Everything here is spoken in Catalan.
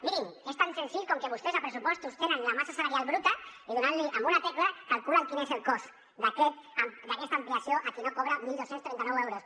mirin és tan senzill com que vostès als pressupostos tenen la massa salarial bruta picant una tecla calculen quin és el cost d’aquesta ampliació a qui no cobra dotze trenta nou euros